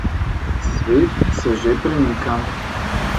Svet se že premika.